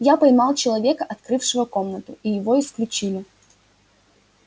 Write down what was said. я поймал человека открывшего комнату и его исключили